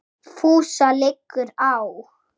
FÚSA LIGGUR Á